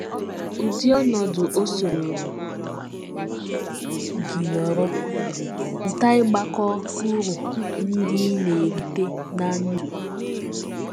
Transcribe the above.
Ụdị ọnọdụ ọ sọrọ gị nọrọ, mụta ịgbakọ uru ndị ị na - erite ná ndụ.